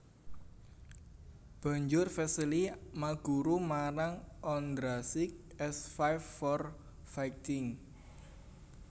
Banjur Vesely maguru marang Ondrasik s Five for Fighting